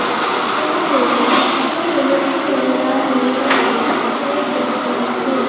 यहां पे काफी सारे व्यक्ति नजर आ रहे हैं जिनके कपड़े कलर अनेक है।